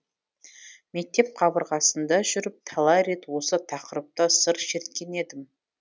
мектеп кабырғасында жүріп талай рет осы тақырыпта сыр шерткен едім